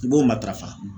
I b'o matarafa